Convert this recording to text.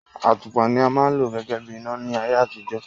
Àtùpà ni a ma ń lò gégé bí ìná láyé àtijó